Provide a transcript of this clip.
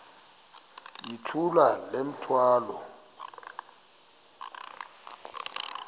yithula le mithwalo